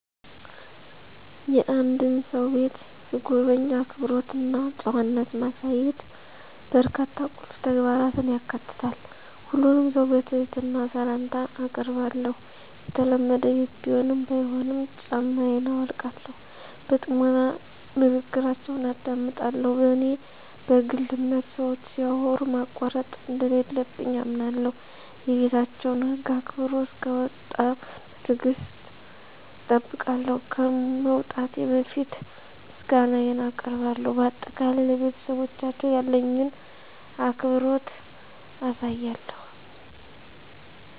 የአንድን ሰው ቤት ስጎበኝ፣ አክብሮት እና ጨዋነት ማሳየት በርካታ ቁልፍ ተግባራትን ያካትታል። ሁሉንም ሰው በትህትና ሰላምታ አአቀርባለሁ፣ የተለመደ ቤት ቢሆንም ባይሆንም ጫማየን አውልቃለሁ። በጥሞና ንግግራችውን አደምጣለሁ፣ በኔ በግል አምነት ሰወች ሲያወሩ ማቋረጥ እንደለለብኝ አምነለሁ። የቤታቸውን ህግ አክብሮ እሰክወጣ በትግሰት እጠብቃለሁ፣ ከመውጣቴ በፈት ምሰጋነየን አቀርባለሁ በአጠቃላይ፣ ለቤተሰባቸው ያለኝን አክብሮት አሳያለሁ።